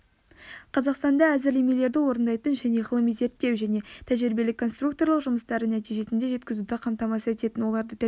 қазақстанда әзірлемелерді орындайтын және ғылыми-зерттеу және тәжірибелік-конструкторлық жұмыстарды нәтижесіне жеткізуді қамтамасыз ететін оларды тәжірибе